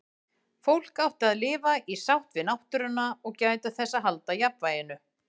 Fólk átti að lifa í sátt við náttúruna og gæta þess að halda jafnvæginu.